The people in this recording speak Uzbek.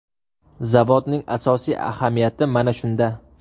Zavodning asosiy ahamiyati mana shunda.